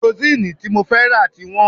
Karosín tí mo fẹ́ rà ti wọ́n